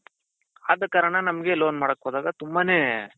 ಆದ ಕಾರಣ ನಮ್ಗೆ loan ಮಾಡಕ್ ಹೋದಾಗ ನಮ್ಗೆ ತುಂಬಾನೇ